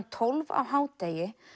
tólf á hádegi